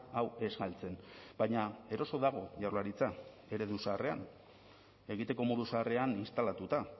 hau ez galtzen baina eroso dago jaurlaritza eredu zaharrean egiteko modu zaharrean instalatuta